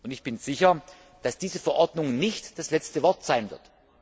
Ich bin sicher, dass diese Verordnung nicht das letzte Wort sein wird.